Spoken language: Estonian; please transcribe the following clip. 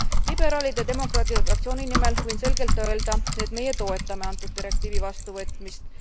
Liberaalide ja demokraatide fraktsiooni nimel võin selgelt öelda, et meie toetame antud direktiivi vastuvõtmist.